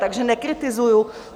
Takže nekritizuji.